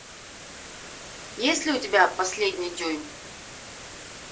есть ли у тебя последний дюйм